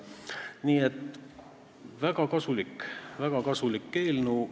Nii et see on väga kasulik, väga kasulik eelnõu.